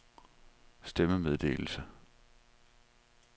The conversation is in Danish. stemmemeddelelse